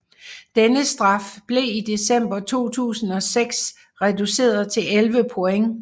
Denne straf blev i december 2006 reduceret til 11 point